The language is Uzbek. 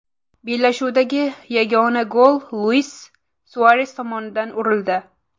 Bellashuvdagi yagona gol Luis Suares tomonidan urildi.